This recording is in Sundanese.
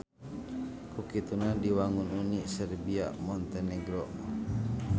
Ku kituna diwangun Uni Serbia Montenegro.